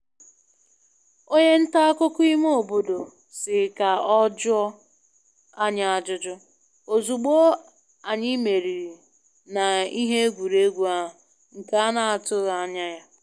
Onye nta akụkọ ime obodo si ka ọ jụọ anyị ajụjụ, ozugbo anyị meriri na ihe egwuregwu ahụ nke ana atụghị anya ya.